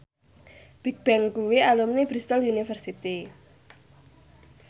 Bigbang kuwi alumni Bristol university